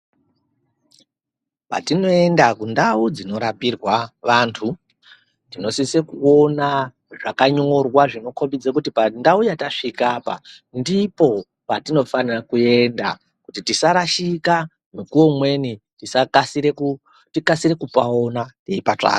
Patinoenda kundau dzinorapirwa vantu tinosise kuona zvakanyorwa zvinokhombidze kuti pandau yatasvika apa ndipo patinofanira kuenda kuti tisarashika mukuwo umweni tikasire kupona teipa tsvaka.